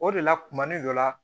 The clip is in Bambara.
O de la kuma ni dɔ la